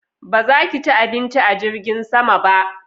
Ba za ka ci abinci a jirgin sama ba?